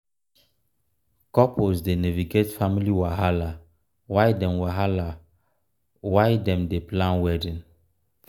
couples dey navigate family wahala while dem wahala while dem dey plan wedding.